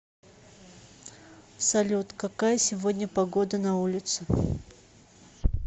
салют какая сегодня погода на улице